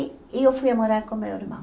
E eu fui a morar com meu irmão.